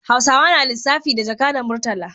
Hausawa na lissafi da jaka da murtala